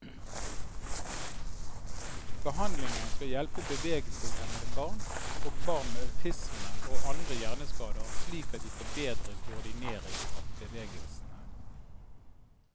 Behandlingen skal hjelpe bevegelseshemmede barn, og barn med autisme og andre hjerneskader slik at de får bedre koordinering av bevegelsene.